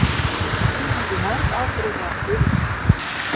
Til eru mörg afbrigði af þulunni.